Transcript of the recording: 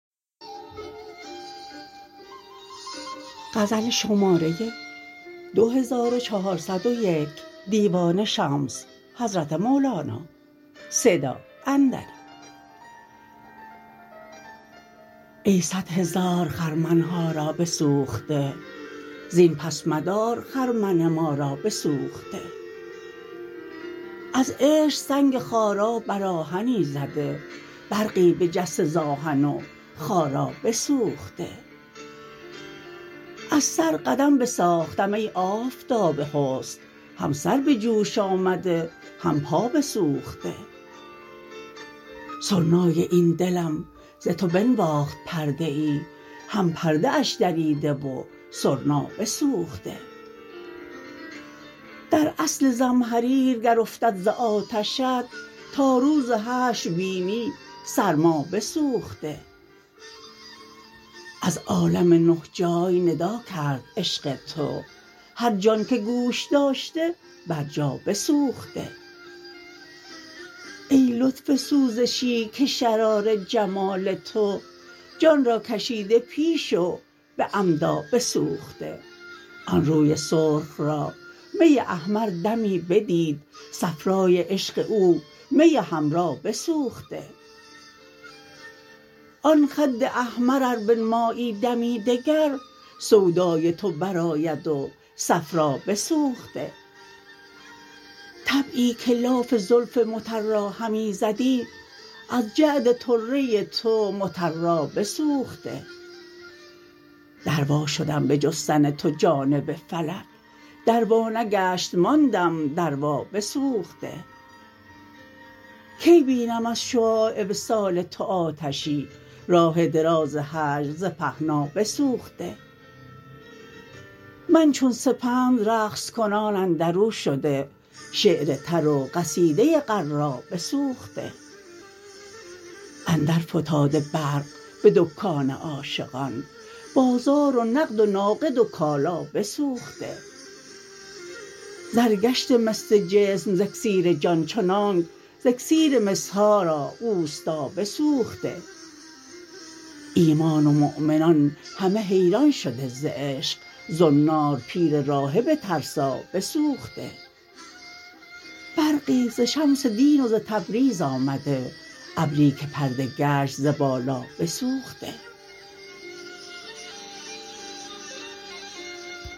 ای صد هزار خرمن ها را بسوخته زین پس مدار خرمن ما را بسوخته از عشق سنگ خارا بر آهنی زده برقی بجسته ز آهن و خارا بسوخته از سر قدم بساختم ای آفتاب حسن هم سر به جوش آمده هم پا بسوخته سرنای این دلم ز تو بنواخت پرده ای هم پرده اش دریده و سرنا بسوخته در اصل زمهریر گر افتد ز آتشت تا روز حشر بینی سرما بسوخته از عالم نه جای ندا کرد عشق تو هر جان که گوش داشته برجا بسوخته ای لطف سوزشی که شرار جمال تو جان را کشیده پیش و به عمدا بسوخته آن روی سرخ را می احمر دمی بدید صفرای عشق او می حمرا بسوخته آن خد احمر ار بنمایی دمی دگر سودای تو برآید و صفرا بسوخته طبعی که لاف زلف مطرا همی زدی از جعد طره تو مطرا بسوخته در وا شدم به جستن تو جانب فلک در وا نگشت ماندم دروا بسوخته کی بینم از شعاع وصال تو آتشی راه دراز هجر ز پهنا بسوخته من چون سپند رقص کنان اندر او شده شعر تر و قصیده غرا بسوخته اندرفتاده برق به دکان عاشقان بازار و نقد و ناقد و کالا بسوخته زر گشته مس جسم ز اکسیر جان چنانک ز اکسیر مس ها را استا بسوخته ایمان و مؤمنان همه حیران شده ز عشق زنار پیر راهب ترسا بسوخته برقی ز شمس دین و ز تبریز آمده ابری که پرده گشت ز بالا بسوخته